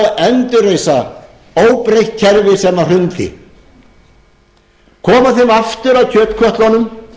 og endurreisa óbreytt kerfi sem hrundi koma síðan aftur að kjötkötlunum